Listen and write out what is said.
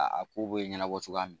A a ko bɛ ɲɛnabɔ cogoya min